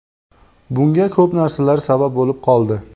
Bunga ko‘p narsalar sabab bo‘lib qoldi.